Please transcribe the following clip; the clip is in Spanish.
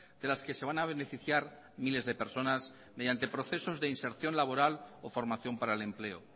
de las que se van a beneficiar miles de personas mediante procesos de inserción laboral o formación para el empleo